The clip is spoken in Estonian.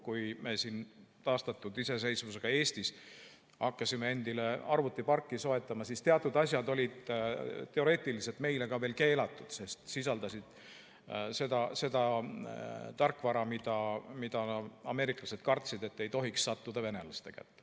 Kui meie siin taastatud iseseisvusega Eestis hakkasime endile arvutiparki soetama, siis teatud asjad olid teoreetiliselt meile ka veel keelatud, sest sisaldasid seda tarkvara, mida ameeriklased kartsid, et ei tohiks sattuda venelaste kätte.